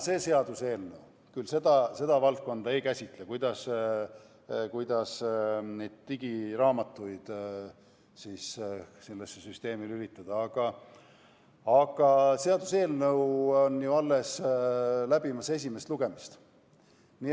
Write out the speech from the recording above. See seaduseelnõu küll seda valdkonda ei käsitle, kuidas näiteks digiraamatuid sellesse süsteemi lülitada, kuid seaduseelnõu on ju alles läbimas esimest lugemist.